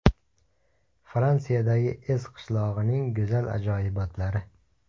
Fransiyadagi Ez qishlog‘ining go‘zal ajoyibotlari .